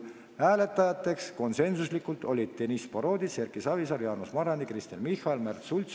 Alla kirjutanud on protokollile Sven Sester ja Annaliisa Jäme.